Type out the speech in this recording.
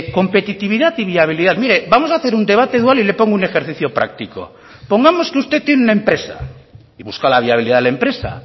competitividad y viabilidad mire vamos a hacer un debate dual y le pongo un ejercicio práctico pongamos que usted tiene una empresa y busca la viabilidad de la empresa